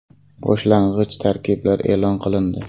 Boshlang‘ich tarkiblar e’lon qilindi.